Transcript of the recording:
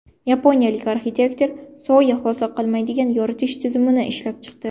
Yaponiyalik arxitektor soya hosil qilmaydigan yoritish tizimini ishlab chiqdi.